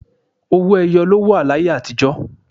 Owó ẹyọ ló wà láyé àtíjọ̀